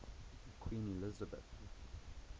queen elizabeth